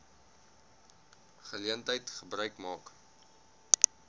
geleentheid gebruik maak